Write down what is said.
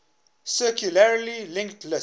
circularly linked list